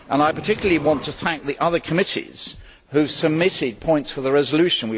I particularly want to thank the other committees who submitted points for the resolution.